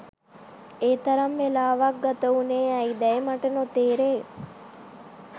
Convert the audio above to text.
ඒ තරම් වේලාවක් ගත වුණේ ඇයිදැයි මට නොතේරේ